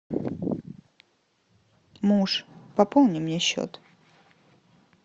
муж пополни мне счет